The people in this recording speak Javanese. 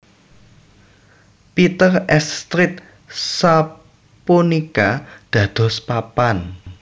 Peter s Street sapunika dados papan